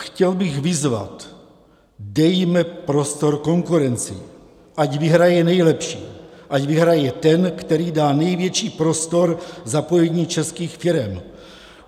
Chtěl bych vyzvat: Dejme prostor konkurenci, ať vyhraje nejlepší, ať vyhraje ten, který dá největší prostor zapojení českých firem.